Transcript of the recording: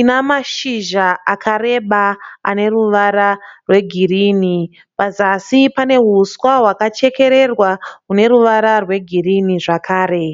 ina mashizha akareba ane ruvara rwegirini. Pazasi pane uswa hwakachekererwa une ruvara rwegirini zvakare.